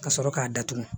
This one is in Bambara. Ka sɔrɔ k'a datugu